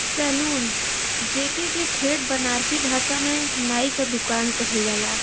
Saloon जेके के ठेठ बनारसी भासा में नाई क दुकान कहल जाला।